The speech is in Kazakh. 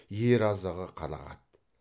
ер азығы қанағат